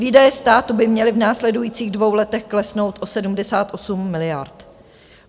Výdaje státu by měly v následujících dvou letech klesnout o 78 miliard.